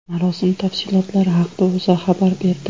Marosim tafsilotlari haqida O‘zA xabar berdi .